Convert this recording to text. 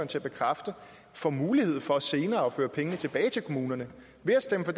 til at bekræfte får mulighed for senere at føre pengene tilbage til kommunerne ved at stemme for